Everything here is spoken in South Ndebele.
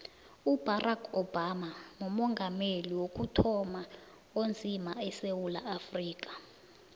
ubarack obama mumongameli wokuthoma onzima esewula afrika